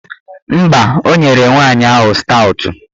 Mba, o nyere nwaanyị ahụ staụtụ